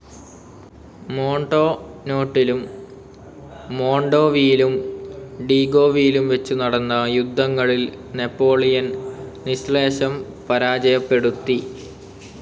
മോൺടോനോട്ടിലും മോൺഡോവിയിലും ഡീഗോവിലും വെച്ചു നടന്ന യുദ്ധങ്ങളിൽ നാപ്പോളിയൻ നിശ്ശേഷം പരാജയപ്പെടുത്തി.